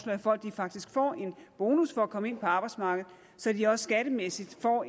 at folk faktisk får en bonus for at komme ind på arbejdsmarkedet så de også skattemæssigt får